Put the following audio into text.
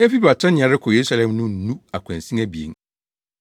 Efi Betania rekɔ Yerusalem no nnu akwansin abien,